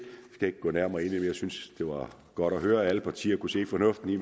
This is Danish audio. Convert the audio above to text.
det ikke gå nærmere ind i det jeg synes det var godt at høre at alle partier kunne se fornuften i